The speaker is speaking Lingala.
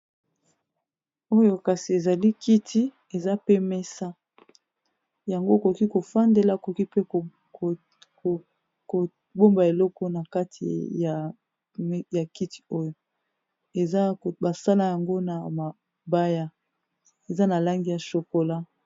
oyo kasi ezali kiti eza pe mesa yango okoki kofandela okoki pe kobomba eloko na kati ya kiti oyo eza basala yango na mabaya eza na langi ya shokola